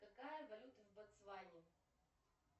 какая валюта в ботсване